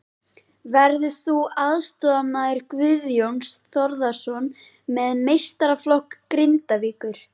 Verður þú aðstoðarmaður Guðjóns Þórðarsonar með meistaraflokk Grindavíkur?